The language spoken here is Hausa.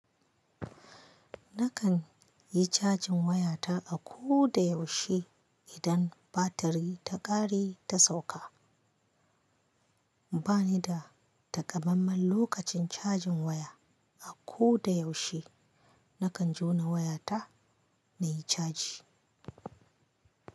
Nakan yi cajin wayata a ko da yaushe idan batirin ta ƙare ta sauka. Ba ni da takamamman lokacin cajin waya. A ko da yaushe nakan jona wayata nai caji.